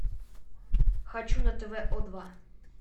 хочу на тв о два